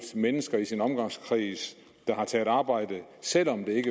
mennesker i sin omgangskreds der har taget arbejde selv om det